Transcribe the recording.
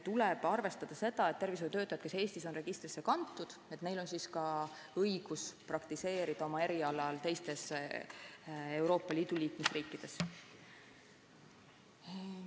Tuleb arvestada seda, et nendel tervishoiutöötajatel, kes Eestis on registrisse kantud, on ka õigus praktiseerida oma erialal teistes Euroopa Liidu liikmesriikides.